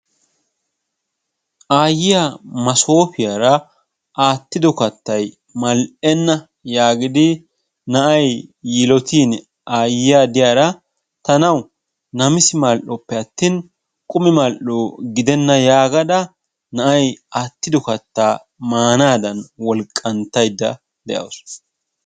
Aayiya maasopiyaa aattido kattaay mall''ena giidi na'ay yiilotin aayyiya de'iyaara tanaw namissi mal''oppe atin qumi mal''o gidena yaagada na'ay maanadan wolqqanttaydda de'awus.